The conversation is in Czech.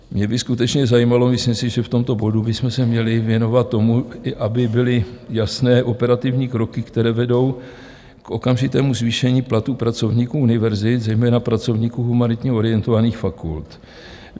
Mě by skutečně zajímalo - myslím si, že v tomto bodu bychom se měli věnovat tomu, aby byly jasné operativní kroky, které vedou k okamžitému zvýšení platů pracovníků univerzit, zejména pracovníků humanitně orientovaných fakult.